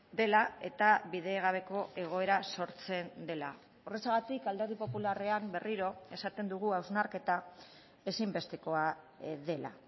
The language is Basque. dela eta bidegabeko egoera sortzen dela horrexegatik alderdi popularrean berriro esaten dugu hausnarketa ezinbestekoa dela